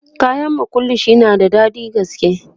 kayan makullashe na da daɗin gaske